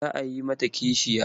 Za a yi mata kishiya.